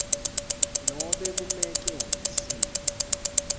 nobe kumec ehhovisi